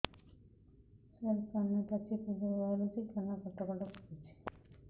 ସାର କାନ ପାଚି ପୂଜ ବାହାରୁଛି କାନ କଟ କଟ କରୁଛି